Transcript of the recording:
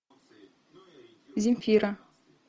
земфира